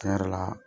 Tiɲɛ yɛrɛ la